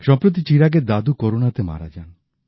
সম্প্রতি চিরাগের দাদু করোনাতে মারা যান